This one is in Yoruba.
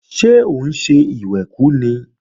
Ṣé òun ń ṣe ìwẹ̀kú ni?